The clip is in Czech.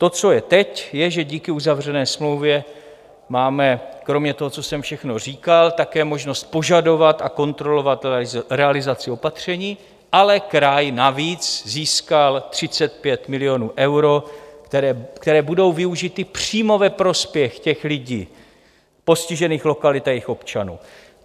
To, co je teď, je, že díky uzavřené smlouvě máme, kromě toho, co jsem všechno říkal, také možnost požadovat a kontrolovat realizaci opatření, ale kraj navíc získal 35 milionů eur, které budou využity přímo ve prospěch těch lidí, postižených lokalit a jejich občanů.